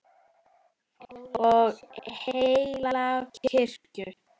og heilaga kirkju